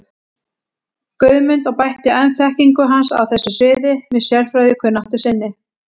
Guðmund og bætti enn þekkingu hans á þessu sviði með sérfræðikunnáttu sinni.